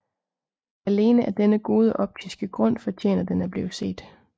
Alene af denne gode optiske grund fortjener den at blive set